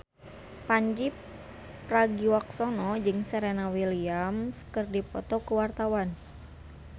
Pandji Pragiwaksono jeung Serena Williams keur dipoto ku wartawan